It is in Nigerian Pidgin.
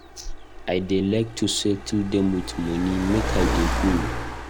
I dey like to settle dem with money make I dey go.